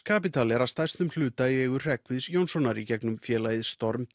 Capital er að stærstum hluta í eigu Hreggviðs Jónssonar í gegnum félagið